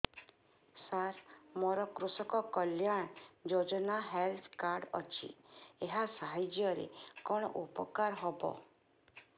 ସାର ମୋର କୃଷକ କଲ୍ୟାଣ ଯୋଜନା ହେଲ୍ଥ କାର୍ଡ ଅଛି ଏହା ସାହାଯ୍ୟ ରେ କଣ ଉପକାର ହବ